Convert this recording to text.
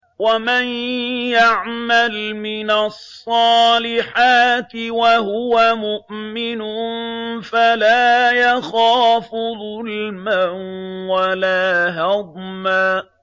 وَمَن يَعْمَلْ مِنَ الصَّالِحَاتِ وَهُوَ مُؤْمِنٌ فَلَا يَخَافُ ظُلْمًا وَلَا هَضْمًا